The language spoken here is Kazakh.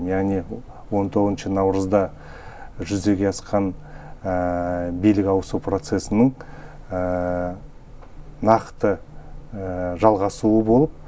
яғни он тоғызыншы наурызда жүзеге асқан билік ауысу процесінің нақты жалғасуы болып